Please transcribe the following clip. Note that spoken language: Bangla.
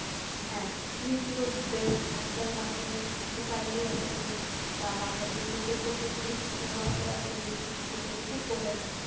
হ্যাঁ Youtube based আজকাল বাচ্চারা কিছু পাইলেই assignment বা বাসাই কোনো project করতে দিলে ছোটো ছোটো বাচ্চারা এখন Youtube ঘেটে ঘেটে করে ফেলে,